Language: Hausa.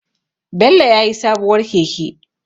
Bello ya sayi sabuwar keke.